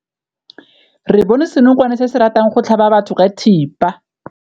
Re bone senokwane se se ratang go tlhaba batho ka thipa.